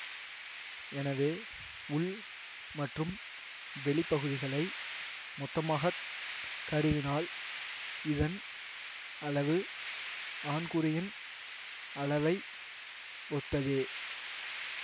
எனவே உள் மற்றும் வெளிப்பகுதிகளை மொத்தமாக கருதினால் இதன் அளவு ஆண்குறியின் அளவை ஒத்ததே